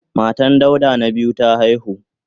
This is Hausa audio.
Matan Dauda na biyu ta haihu.